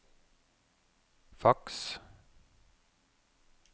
faks